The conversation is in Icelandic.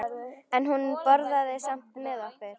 En hún borðaði samt með okkur.